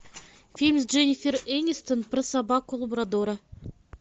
фильм с дженнифер энистон про собаку лабрадора